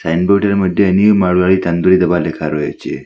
সাইনবোর্ডের মইধ্যে নিউ মাড়োয়ারি তন্দুরি ধাবা লেখা রয়েছে।